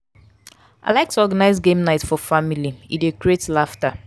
i like to organize game night for family; e dey create laughter.